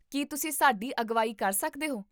ਕੀ ਤੁਸੀਂ ਸਾਡੀ ਅਗਵਾਈ ਕਰ ਸਕਦੇ ਹੋ?